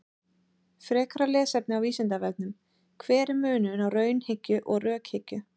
Frekara lesefni á Vísindavefnum: Hver er munurinn á raunhyggju og rökhyggju?